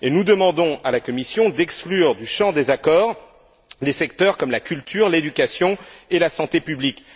Nous demandons à la Commission d'exclure du champ des accords des secteurs comme la culture, l'éducation et la santé publique.